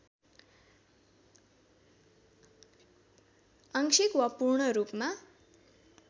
आङ्शिक वा पूर्णरूपमा